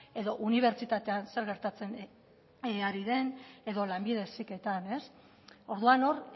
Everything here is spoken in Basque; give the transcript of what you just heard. edo unibertsitatean zer gertatzen ari den edo lanbide heziketan orduan hor